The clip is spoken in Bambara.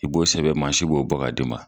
I b'o sɛbɛn mansi bɔ ka d'i ma